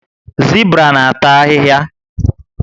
Zibra na ata ahịhịa